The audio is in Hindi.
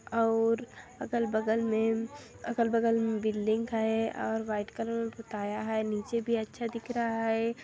अउर अगल बगल में अगल बगल बिल्डिंग है और व्हाइट कलर में पोताया है नीचे भी अच्छा दिख रहा है।